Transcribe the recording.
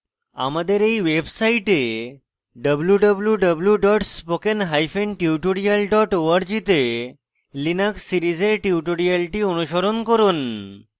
আমাদের এই website www spokentutorial org তে linux series tutorial অনুসরণ করুন